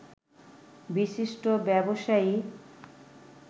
বিশিষ্ট ব্যবসায়ী